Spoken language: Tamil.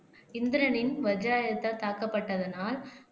இந்திரனின் வஜ்ராயுதத்தால் தாக்கப்பட்டதனால்